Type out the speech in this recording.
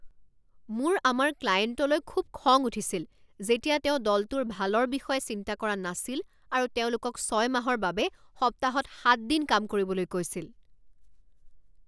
মোৰ আমাৰ ক্লায়েণ্টলৈ খুব খং উঠিছিল যেতিয়া তেওঁ দলটোৰ ভালৰ বিষয়ে চিন্তা কৰা নাছিল আৰু তেওঁলোকক ছয় মাহৰ বাবে সপ্তাহত সাত দিন কাম কৰিবলৈ কৈছিল।